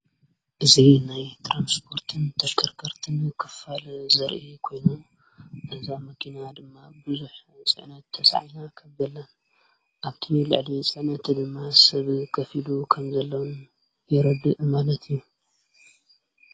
እዙ ናይ ትራንስጶርትን ተሽከርከርትን ክፋል ዘርኢ ኮይኑ እዛ መኪና ድማ ብዙኅ ጽዕነት ተሰዓና ኸብበላን ኣብትቢልዕሊ ጸነት ድማ ሰብ ከፊሉ ኸም ዘለዉን የረዲ እማነት እዩ።